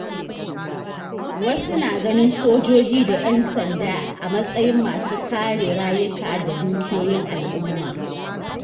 Wasu na ganin sojoji da ‘yan sanda a matsayin masu kare rayuka da dukiyoyin al’umma.